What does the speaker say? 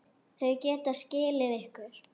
Þau geta skilið ykkur.